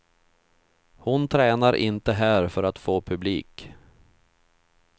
Hon tränar inte här för att få publik.